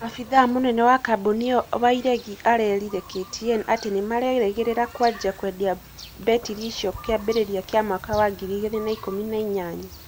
Abithaa mũnene wa kambũni ĩyo Wairegi erĩte KTN atĩ nĩmarerĩgĩrĩra kwanjĩa kwendia mbetiri icio kĩambĩrĩria kĩa mwaka wa ngiri igĩrĩ na ikũmi na inyanya